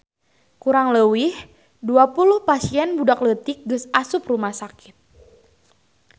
Kurang leuwih 20 pasien budak leutik geus asup rumah sakit